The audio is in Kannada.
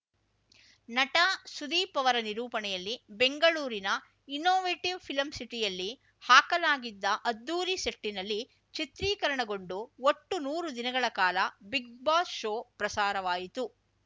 ನಟ ಸುದೀಪ್‌ ಅವರ ನಿರೂಪಣೆಯಲ್ಲಿ ಬೆಂಗಳೂರಿನ ಇನ್ನೋವೇಟಿವ್‌ ಫಿಲಂ ಸಿಟಿಯಲ್ಲಿ ಹಾಕಲಾಗಿದ್ದ ಅದ್ಧೂರಿ ಸೆಟ್ಟಿನಲ್ಲಿ ಚಿತ್ರೀಕರಣಗೊಂಡು ಒಟ್ಟು ನೂರು ದಿನಗಳ ಕಾಲ ಬಿಗ್‌ ಬಾಸ್‌ ಶೋ ಪ್ರಸಾರವಾಯಿತು